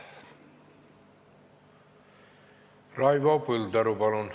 Raivo Põldaru, palun!